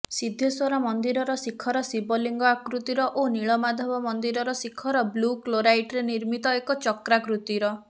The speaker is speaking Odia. ସିଦ୍ଧେଶ୍ବର ମନ୍ଦିରର ଶିଖର ଶିବଲିଙ୍ଗ ଆକୃତିର ଓ ନୀଳମାଧବ ମନ୍ଦିରର ଶିଖର ବ୍ଲୁ କ୍ଲୋରାଇଟରେ ନିର୍ମିତ ଏକ ଚକ୍ରାକୃତିର